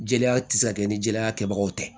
Jeliya tɛ se ka kɛ ni jeliya kɛbagaw tɛ